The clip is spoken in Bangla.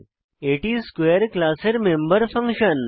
এটি স্কোয়ারে ক্লাসের মেম্বার ফাংশন